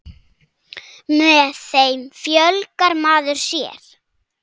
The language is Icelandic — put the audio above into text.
Með þeim fjölgar maður sér.